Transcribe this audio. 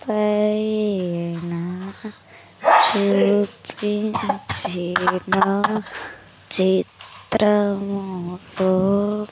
పైన చూపించిన చిత్రముతో.